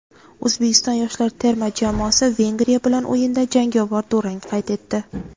O‘zbekiston yoshlar terma jamoasi Vengriya bilan o‘yinda jangovar durang qayd etdi;.